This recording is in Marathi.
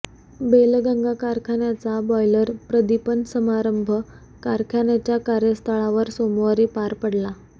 बेलगंगा कारखान्याचा बॉयलर प्रदीपन समारंभ कारखान्याच्या कार्यस्थळावर सोमवारी पार पडला